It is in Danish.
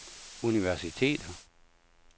universiteter